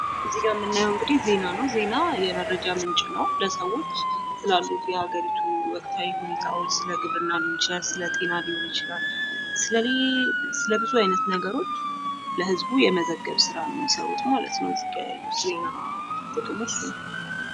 እዚህ ጋ እምናየው እንግዲህ ዜና ነው ዜና የመረጃ ምንጭ ነው። ለሰዎች ስላሉት የሀገሪቱ ወቅታዊ ሁኔታዎች ስለ ግብርና ሊሆን ይችላል ስለ ጤና ሊሆን ይችላል ስለ ብዙ አይነት ነገሮች ለህዝቡ የመዘገብ ስራ ነው ማለት ነው የሚሰሩት እዚጋ ያለው የዜና ጥቅሙ እሱ ነው።